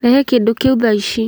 Rehe kĩndũ kĩu thaa ici.